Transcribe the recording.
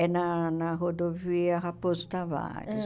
É na na Rodovia Raposo Tavares. Ãh